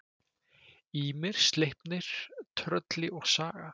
Ýmir, Sleipnir, Trölli og Saga.